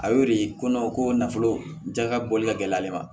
A y'o de ko ko nafolo jɛ ka bɔli ka gɛlɛ ale ma